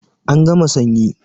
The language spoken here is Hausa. An gama sanyi